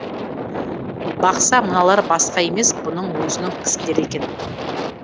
бақса мыналар басқа емес бұның өзінің кісілері екен